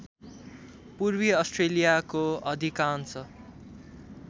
पूर्वी अस्ट्रेलियाको अधिकांश